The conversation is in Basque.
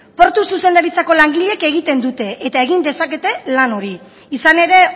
portu zuzendaritzako langileek egiten dute eta egin dezakete lan hori izan ere